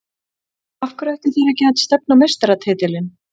Af hverju ættu þeir ekki að stefna á meistaratitilinn?